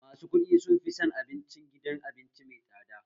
Masu kuɗi sun fi son abincin gidan abinci mai tsada